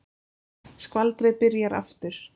Skvaldrið byrjar aftur.